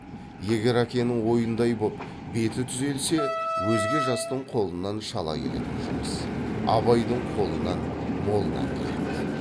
егер әкенің ойындай боп беті түзелсе өзге жастың қолынан шала келетін жұмыс абайдың қолынан молынан келеді